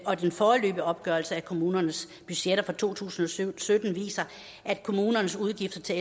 og den foreløbige opgørelse af kommunernes budgetter for to tusind og sytten viser at kommunernes udgifter til